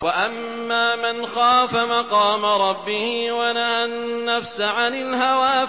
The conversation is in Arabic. وَأَمَّا مَنْ خَافَ مَقَامَ رَبِّهِ وَنَهَى النَّفْسَ عَنِ الْهَوَىٰ